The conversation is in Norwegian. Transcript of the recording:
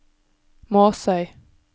Måsøy